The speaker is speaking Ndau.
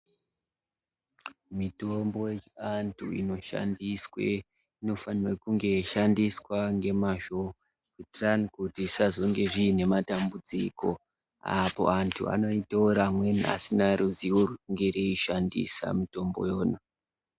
Mitombo yechiantu inoshandiswe inofanira kunge yeishandiswa ngemazvo kuitira kuti isazonge zvine matambudziko apo antu anoitora amweni asina ruzivo rwekuishandisa mitombo yona.